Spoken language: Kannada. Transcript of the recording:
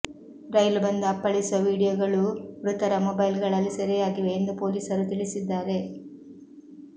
ರೈಲು ಬಂದು ಅಪ್ಪಳಿಸುವ ವಿಡಿಯೊಗಳೂ ಮೃತರ ಮೊಬೈಲ್ಗಳಲ್ಲಿ ಸೆರೆಯಾಗಿವೆ ಎಂದು ಪೊಲೀಸರು ತಿಳಿಸಿದ್ದಾರೆ